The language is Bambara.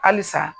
Halisa